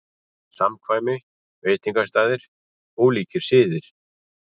SAMKVÆMI, VEITINGASTAÐIR, ÓLÍKIR SIÐIR